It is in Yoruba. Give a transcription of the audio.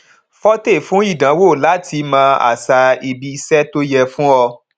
fortay fún ìdánwò láti mọ àṣà ibi iṣẹ tó yẹ fún ọ